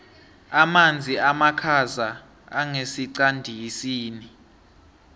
amanzi amakhaza angesiqandisini